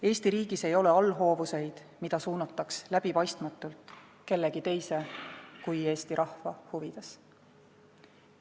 Eesti riigis ei ole allhoovuseid, mida suunataks läbipaistmatult, kellegi teise kui Eesti rahva huvides.